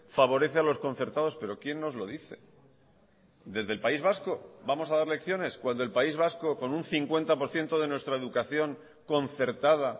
favorece a los concertados pero quién nos lo dice desde el país vasco vamos a dar lecciones cuando el país vasco con un cincuenta por ciento de nuestra educación concertada